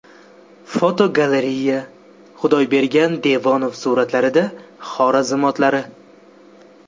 Fotogalereya: Xudoybergan Devonov suratlarida Xorazm otlari.